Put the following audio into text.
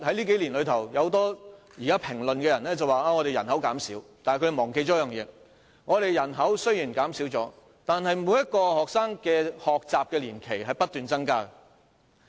近年有評論指人口正在減少，但他們忘記了一點，雖然我們的人口正在減少，但每名學生的學習年期正不斷增加。